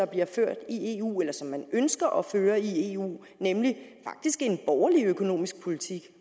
bliver ført i eu eller som man ønsker at føre i eu nemlig faktisk en borgerlig økonomisk politik